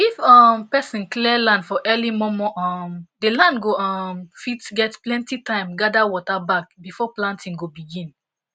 if um person clear land for early momo um the the land go um fit get plenty time gather water back before planting go begin